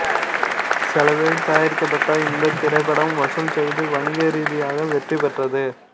செலவில் தயாரிக்கப்பட்ட இந்தத் திரைப்படம் வசூல் செய்து வணிக ரீதியாக வெற்றி பெற்றது